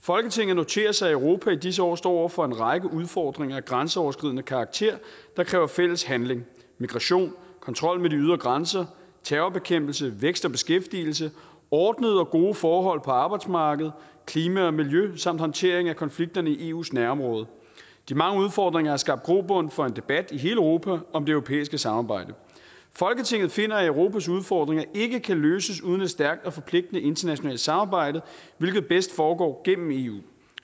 folketinget noterer sig at europa i disse år står over for en række udfordringer af grænseoverskridende karakter der kræver fælles handling migration kontrollen med de ydre grænser terrorbekæmpelse vækst og beskæftigelse ordnede og gode forhold på arbejdsmarkedet klima og miljø samt håndtering af konflikterne i eus nærområde de mange udfordringer har skabt grobund for en debat i hele europa om det europæiske samarbejde folketinget finder at europas udfordringer ikke kan løses uden et stærkt og forpligtende internationalt samarbejde hvilket bedst foregår gennem eu